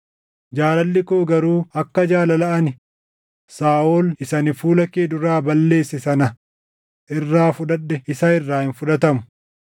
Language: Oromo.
Jaalalli koo garuu akka jaalala ani Saaʼol isa ani fuula kee duraa balleesse sana irraa fudhadhe isa irraa hin fudhatamu.